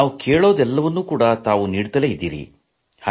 ನಾವು ಕೇಳುವುದೆಲ್ಲವನ್ನೂ ನೀವು ನೀಡುತ್ತಿದ್ದೀರಿ